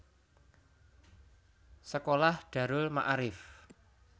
Sekolah Darul Maarif